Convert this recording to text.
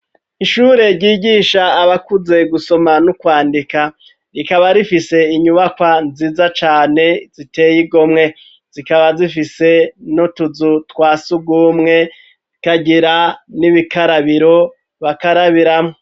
Ishure ryigisha abakuze gusoma n'ukwandika rikaba rifise inyubakwa nziza cane ziteye igomwe zikaba zifise n'utuzu twasugumwe ikagira n'ubikarabiro bakarabiramwo.